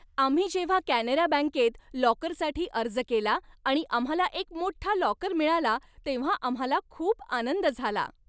आम्ही जेव्हा कॅनरा बँकेत लॉकरसाठी अर्ज केला आणि आम्हाला एक मोठा लॉकर मिळाला तेव्हा आम्हाला खूप आनंद झाला.